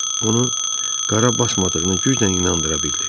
Onu qara basmadığına güclə inandıra bildi.